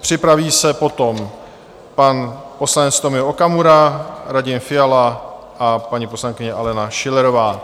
Připraví se potom pan poslanec Tomio Okamura, Radim Fiala a paní poslankyně Alena Schillerová.